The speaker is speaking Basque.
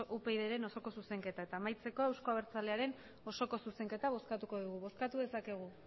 upydren osoko zuzenketa eta amaitzeko euzko abertzalearen osoko zuzenketa bozkatuko dugu bozkatu dezakegu